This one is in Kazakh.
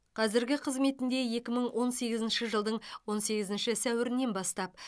қазіргі қызметінде екі мың он сегізінші жылдың он сегізінші сәуірінен бастап